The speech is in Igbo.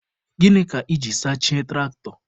Gịnị ka iji sachie tụraktọ?